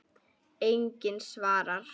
Enginn svarar.